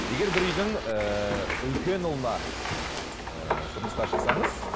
егер бір үйдің ііі үлкен ұлына ііі тұрмысқа шықсаңыз